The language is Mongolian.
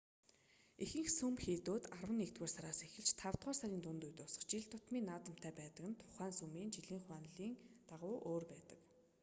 ихэнх сүм хийдүүд арван нэгдүгээр сараас эхэлж тавдугаар сарын дунд үед дуусах жил тутмын наадамтай байдаг нь тухайн сүмийн жилийн хуанлийн дагуу өөр байдаг